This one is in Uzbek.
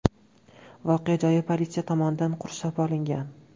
Voqea joyi politsiya tomonidan qurshab olingan.